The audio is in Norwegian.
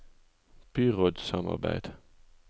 byrådssamarbeid